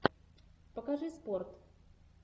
покажи спорт